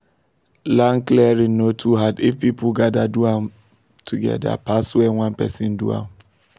land clearing no too hard if people gather do am together pass when one person do am